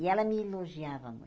E ela me elogiava muito.